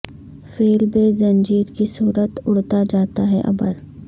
فیل بے زنجیر کی صورت اڑا جاتا ہے ابر